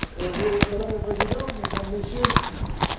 Madame le Président, Mesdames, Messieurs, M.